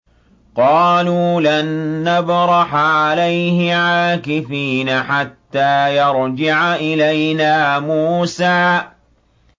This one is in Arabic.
قَالُوا لَن نَّبْرَحَ عَلَيْهِ عَاكِفِينَ حَتَّىٰ يَرْجِعَ إِلَيْنَا مُوسَىٰ